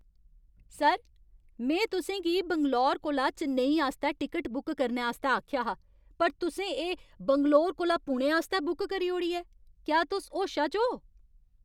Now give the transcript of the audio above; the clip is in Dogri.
सर! में तुसें गी बैंगलोर कोला चेन्नई आस्तै टिकट बुक करने आस्तै आखेआ हा पर तुसें एह् बैंगलोर कोला पुणे आस्तै बुक करी ओड़ी ऐ। क्या तुस होशा च ओ?